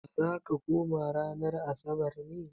Za ka koma ranar Asabar ne?